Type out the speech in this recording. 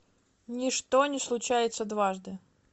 ничто не случается дважды